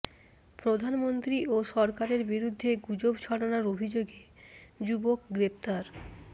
প্রধানমন্ত্রী ও সরকারের বিরুদ্ধে গুজব ছড়ানোর অভিযোগে যুবক গ্রেপ্তার